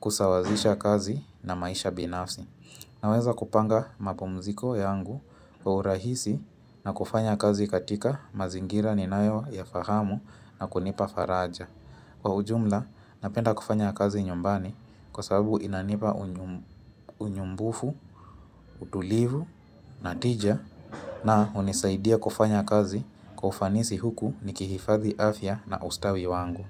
kusawazisha kazi na maisha binafsi. Naweza kupanga mapumziko yangu wa urahisi na kufanya kazi katika mazingira ninayoyafahamu na kunipa faraja Kwa ujumla napenda kufanya kazi nyumbani kwa sababu inanipa unyumbufu, utulivu, natija na hunisaidia kufanya kazi kwa ufanisi huku nikihifadhi afya na ustawi wangu.